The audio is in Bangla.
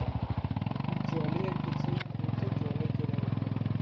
জলে গেছিলাম ঘুরতে জলে চলে গেল টাকাটা,